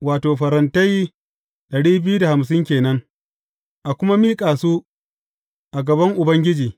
Wato, farantai dari biyu da hamsin ke nan, a kuma miƙa su a gaban Ubangiji.